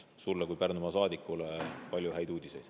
Sulle kui Pärnumaa saadikule palju häid uudiseid.